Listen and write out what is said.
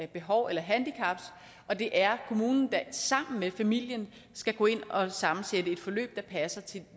behov eller handicap og det er kommunen der sammen med familien skal gå ind og sammensætte et forløb der passer til